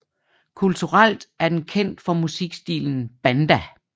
Kulturelt er den kendt for musikstilen banda